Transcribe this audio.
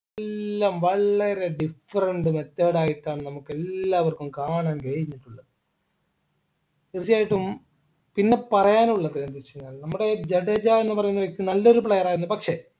എല്ലാം വളരെ different method ആയിട്ടാണ് നമുക്ക് എല്ലാവർക്കും കാണാൻ കഴിഞ്ഞിട്ടുള്ളത് തീർച്ചയായിട്ടും പിന്നെ പറയാനുള്ളത് എന്ത് വെച്ച് കഴിഞ്ഞാല് നമ്മുടെ ജഡേജ എന്ന് പറയുന്ന വ്യക്തി നല്ലൊരു player ആയിരുന്നു പക്ഷേ